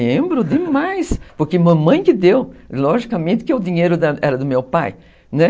Lembro demais, porque mamãe que deu, logicamente que o dinheiro era do meu pai, né?